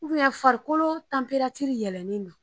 farikolo yɛlɛlen don.